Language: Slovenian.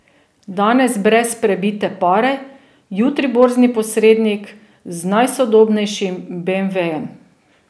Danes brez prebite pare, jutri borzni posrednik z najsodobnejšim beemvejem?